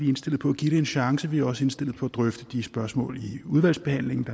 indstillet på at give det en chance vi er også indstillet på at drøfte de spørgsmål i udvalgsbehandlingen